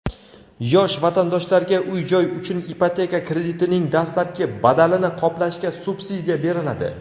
Yosh vatandoshlarga uy-joy uchun ipoteka kreditining dastlabki badalini qoplashga subsidiya beriladi.